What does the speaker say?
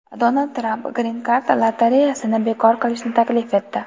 Donald Tramp Green Card lotereyasini bekor qilishni taklif etdi.